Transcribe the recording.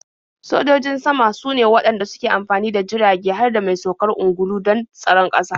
Sojojin sama sune waɗanda suke amfani da jirage har da mai saukar ungulu don tsaron ƙasa.